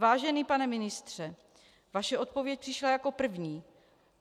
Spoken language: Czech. Vážený pane ministře, vaše odpověď přišla jako první.